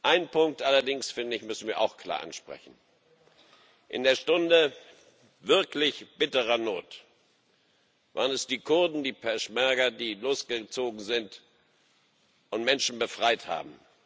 Einen Punkt allerdings, finde ich, müssen wir auch klar ansprechen In der Stunde wirklich bitterer Not waren es die Kurden, die Peschmerga, die losgezogen sind und Menschen befreit haben.